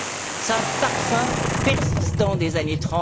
Cela a un parfum persistant des années